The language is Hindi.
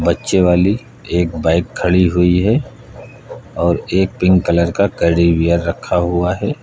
नीचे वाली एक बाइक खड़ी हुई है और एक पिंक कलर का कैडी बियर रखा हुआ है।